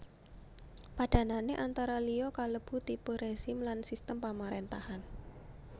Padhanané antara liya kalebu tipe rezim lan sistem pamaréntahan